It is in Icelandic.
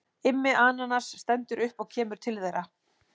Immi ananas stendur upp og kemur til þeirra.